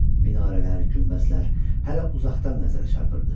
Minarələr, günbəzlər hələ uzaqdan nəzərə çarpırdı.